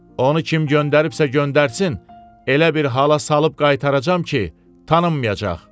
Onu kim göndəribsə, göndərsin, elə bir hala salıb qaytaracam ki, tanınmayacaq.